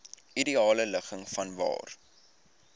ideale ligging vanwaar